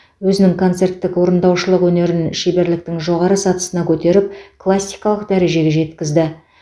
өзінің концерттік орындаушылық өнерін шеберліктің жоғары сатысына көтеріп классикалық дәрежеге жеткізді